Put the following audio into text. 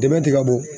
Dɛmɛ tɛ ka bɔ